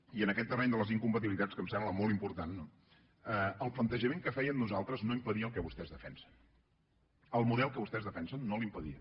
i en aquest terreny de les incompatibilitats que em sembla molt important no el plantejament que fèiem nosaltres no impedia el que vostès defensen el model que vostès defensen no l’impedia